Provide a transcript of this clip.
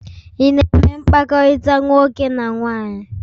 Ị na-eme mkpakọrịta nwoke na nwaanyị?